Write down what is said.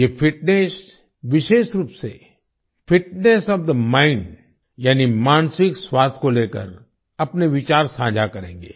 ये फिटनेस विशेष रूप से फिटनेस ओएफ थे माइंड यानी मानसिक स्वास्थ्य को लेकर अपने विचार साझा करेंगे